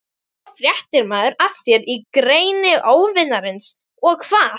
Svo fréttir maður af þér í greni óvinarins- og hvað?